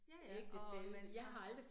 Ja ja, og man så